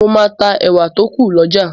Mo máa ta ẹ̀wà tó kù lọ́jà.